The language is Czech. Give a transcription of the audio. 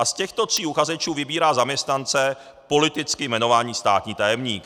A z těchto tří uchazečů vybírá zaměstnance politicky jmenovaný státní tajemník.